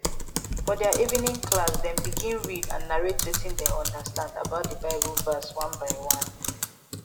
for their evening classdem begin read and narrate wetin dem understand about the bible verse one by one